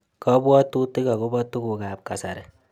Kabwaatutik agobo tugukap kasari